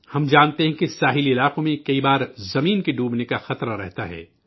ہم جانتے ہیں کہ ساحلی علاقے بعض اوقات زمین کے ڈوبنے کا خطرہ رہتا ہے